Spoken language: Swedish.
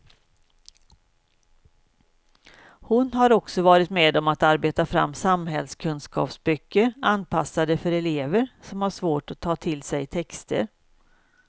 Hon har också varit med om att arbeta fram samhällskunskapsböcker anpassade för elever som har svårt att ta till sig texter.